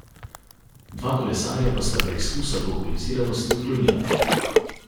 Dva kolesarja pa sta preizkus alkoholiziranosti odklonila.